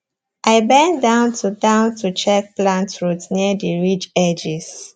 i bend down to down to check plant roots near the ridge edges